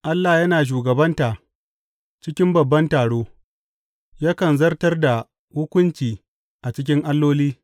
Allah yana shugabanta cikin babban taro; yakan zartar da hukunci a cikin alloli.